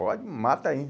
Pode, mata aí.